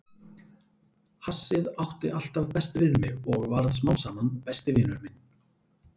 Hassið átti alltaf best við mig og varð smám saman besti vinur minn.